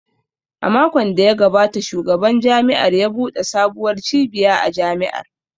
A makon da ya gabata Shugaban Jami’ar ya buɗe sabuwar cibiya a Jami’ar